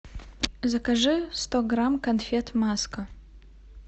закажи сто грамм конфет маска